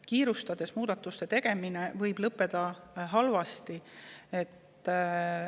Kiirustades muudatuste tegemine võib lõppeda halvasti.